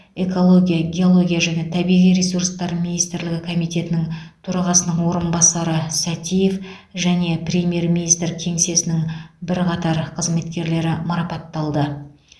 экология геология және табиғи ресурстар министрлігі комитетінің төрағасының орынбасары сәтиев және премьер министр кеңсесінің бірқатар қызметкерлері марапатталды